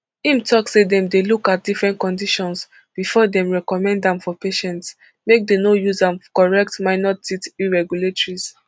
im tok say dem dey look at different conditions bifor dem recommend am for patients make dem use am correct minor teeth irregularities